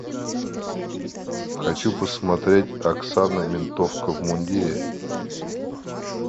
хочу посмотреть оксана ментовка в мундире